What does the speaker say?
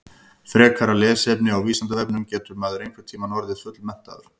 Frekara lesefni á Vísindavefnum Getur maður einhvern tímann orðið fullmenntaður?